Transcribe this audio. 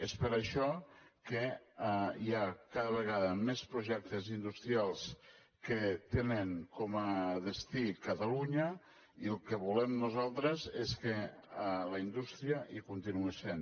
és per això que hi ha cada vegada més projectes industrials que tenen com a destí catalunya i el que volem nosaltres és que la indústria hi continuï sent